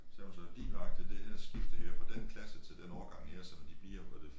Sagde hun så lige nøjagtig det her skifte her fra den klasse til den årgang her som de bliver var det